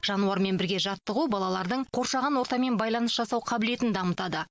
жануармен бірге жаттығу балалардың қоршаған ортамен байланыс жасау қабілетін дамытады